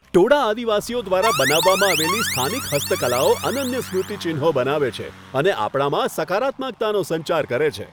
ટોડા આદિવાસીઓ દ્વારા બનાવવામાં આવેલી સ્થાનિક હસ્તકલાઓ અનન્ય સ્મૃતિચિહ્નો બનાવે છે અને આપણામાં સકારાત્મકતાનો સંચાર કરે છે.